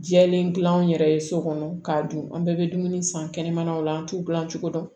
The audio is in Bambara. Jɛlen dilan an yɛrɛ ye so kɔnɔ k'a dun an bɛɛ bɛ dumuni san kɛnɛmanaw la an t'u dilan cogo dɔn